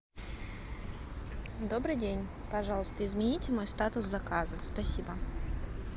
добрый день пожалуйста измените мой статус заказа спасибо